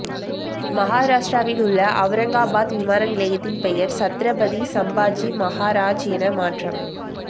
மகாராஷ்டிராவில் உள்ள அவுரங்காபாத் விமான நிலையத்தின் பெயர் சத்ரபதி சம்பாஜி மகாராஜ் என மாற்றம்